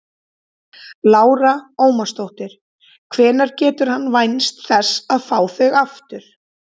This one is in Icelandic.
Lára Ómarsdóttir: Hvenær getur hann vænst þess að fá þau aftur?